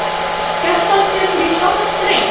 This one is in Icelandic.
Kjartan tekur í sama streng.